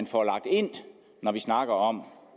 få lagt ind når vi snakker om